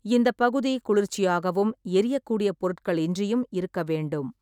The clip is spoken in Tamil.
இந்தப் பகுதி குளிர்ச்சியாகவும், எரியக்கூடிய பொருட்களின்றியும் இருக்க வேண்டும்.